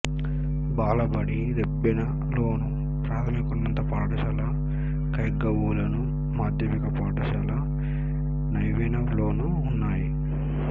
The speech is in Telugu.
బాలబడి రెబ్బెనలోను ప్రాథమికోన్నత పాఠశాల ఖైర్గావ్లోను మాధ్యమిక పాఠశాల నవెగావ్లోనూ ఉన్నాయి